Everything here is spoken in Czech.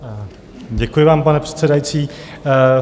Děkuji vám, pane předsedající.